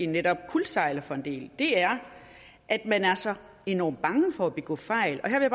netop kuldsejler for en del det er at man er så enormt bange for at begå fejl og her vil